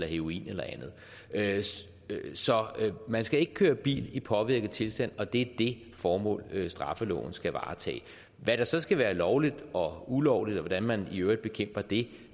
heroin eller andet så man skal ikke køre bil i påvirket tilstand og det det formål straffeloven skal varetage hvad der så skal være lovligt og ulovligt og hvordan man i øvrigt bekæmper det